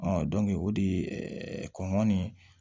o de kɔnɔn ni